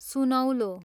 सुनौलो